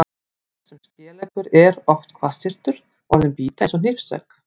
Sá sem er skeleggur er oft hvassyrtur, orðin bíta eins og hnífsegg.